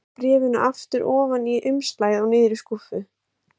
Ég stakk bréfinu aftur ofan í umslagið og niður í skúffu.